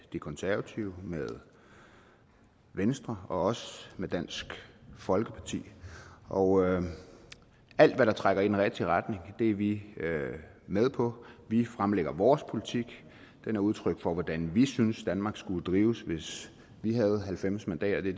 de konservative med venstre og også med dansk folkeparti og alt hvad der trækker i den rigtige retning er vi med på vi fremlægger vores politik den er udtryk for hvordan vi synes danmark skulle drives hvis vi havde halvfems mandater det